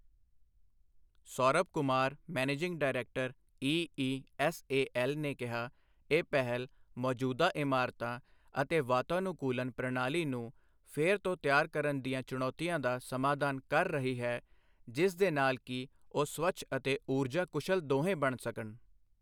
Saurabh Kumar, managing director, EESL ਨੇ ਕਿਹਾ, ਇਹ ਪਹਿਲ ਮੌਜੂਦਾ ਇਮਾਰਤਾਂ ਅਤੇ ਵਾਤਾਨੁਕੂਲਨ ਪ੍ਰਣਾਲੀ ਨੂੰ ਫਿਰ ਤੋਂ ਤਿਆਰ ਕਰਨ ਦੀਆਂ ਚੁਣੌਤੀਆਂ ਦਾ ਸਮਾਧਾਨ ਕਰ ਰਹੀ ਹੈ ਜਿਸ ਦੇ ਨਾਲ ਕਿ ਉਹ ਸਵੱਛ ਅਤੇ ਊਰਜਾ ਕੁਸ਼ਲ ਦੋਹੇ ਬਣ ਸਕਣ।